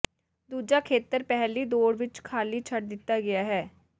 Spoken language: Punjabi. ਦੂਜਾ ਖੇਤਰ ਪਹਿਲੀ ਦੌੜ ਵਿਚ ਖਾਲੀ ਛੱਡ ਦਿੱਤਾ ਗਿਆ ਹੈ